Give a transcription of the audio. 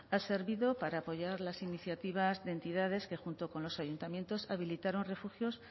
ha servido para apoyar las iniciativas de entidades que junto con los ayuntamientos habilitaron refugios